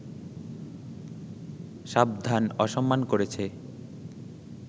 সাবধান, অসম্মান করেছে